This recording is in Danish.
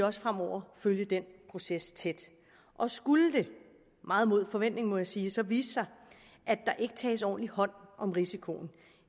også fremover følge den proces tæt og skulle det meget mod forventning må jeg sige så vise sig at der ikke tages ordentlig hånd om risikoen